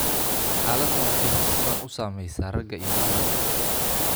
Xaaladdan waxay si siman u saamaysaa ragga iyo dumarka.